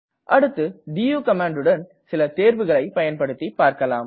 அடுத்து டு கமாண்டுடன் சில தேர்வுகளை பயன்படுத்தி பார்க்கலாம்